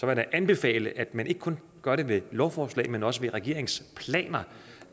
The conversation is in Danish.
jeg da anbefale at man ikke kun gør det ved lovforslag men også ved regeringsplaner